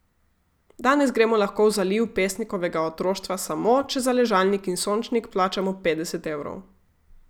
Danes gremo lahko v zaliv pesnikovega otroštva samo, če za ležalnik in sončnik plačamo petdeset evrov.